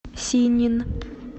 синнин